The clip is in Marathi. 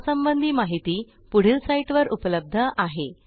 यासंबंधी माहिती पुढील साईटवर उपलब्ध आहे